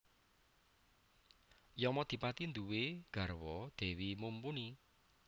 Yamadipati nduwé garwa Dewi Mumpuni